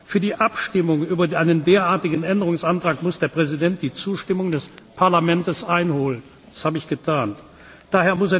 Für die Abstimmung über einen derartigen Änderungsantrag muss der Präsident die Zustimmung des Parlaments einholen, das habe ich getan d.